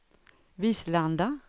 Vislanda